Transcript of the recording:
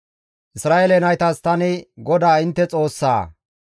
«Isra7eele naytas, ‹Tani GODAA intte Xoossaa;